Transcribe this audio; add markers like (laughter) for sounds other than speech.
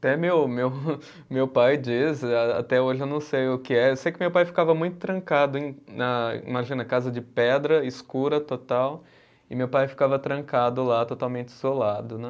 Até meu meu, (laughs) meu pai diz, até hoje eu não sei o que é, eu sei que meu pai ficava muito trancado, em na imagina, casa de pedra, escura total, e meu pai ficava trancado lá, totalmente isolado, né?